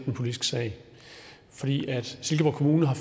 politisk sag silkeborg kommune har